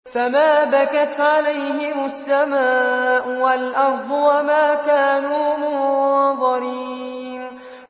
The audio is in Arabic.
فَمَا بَكَتْ عَلَيْهِمُ السَّمَاءُ وَالْأَرْضُ وَمَا كَانُوا مُنظَرِينَ